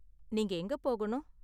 நீங்க எங்க போகணும்?